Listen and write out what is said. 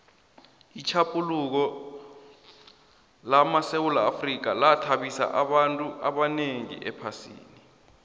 itjhaphuluko lamasewula afrika yathabisa abantu abanengi ephasini